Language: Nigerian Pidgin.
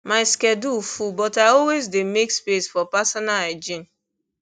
my schedule full but i always dey make space for personal hygiene